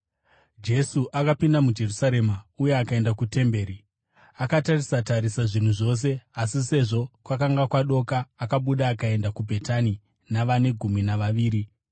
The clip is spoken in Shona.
Jesu akapinda muJerusarema uye akaenda kutemberi. Akatarisa-tarisa zvinhu zvose, asi sezvo kwakanga kwadoka, akabuda akaenda kuBhetani navane gumi navaviri.